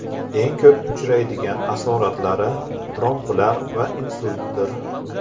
Eng ko‘p uchraydigan asoratlari tromblar va insultdir.